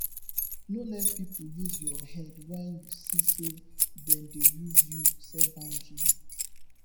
no let pipo use your head when you see sey dem dey use you set boundary